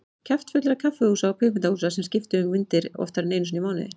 Kjaftfullra kaffihúsa og kvikmyndahúsa sem skiptu um myndir oftar en tvisvar í mánuði.